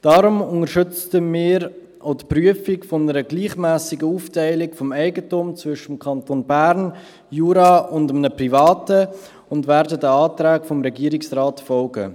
Deshalb unterstützen wird die Prüfung einer gleichmässigen Aufteilung des Eigentums zwischen den Kantonen Bern und Jura und einem Privaten und werden deshalb den Anträgen des Regierungsrates folgen.